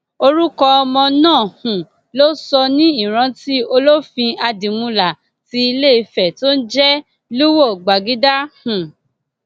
orúkọ ọmọ náà um ló sọ ní ìrántí olófin àdìmúlà ti iléìfẹ tó ń jẹ lúwo gbàgìdá um